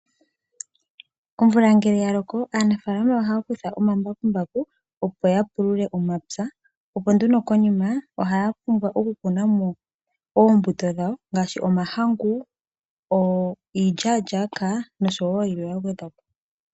Omvula ngele ya loko, aanafalama ohaya kutha omambakumbaku ,opo ya pulule omapya. Opo nduno konima, ohaya pumbwa oku kuna mo oombuto dhawo ngaashi omahangu, iilyalyaka noshowo yilwe ya gwedhwapo.